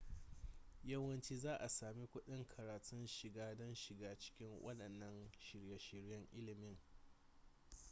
yawanci za a sami kuɗin karatun shiga don shiga cikin waɗannan shirye-shiryen ilimin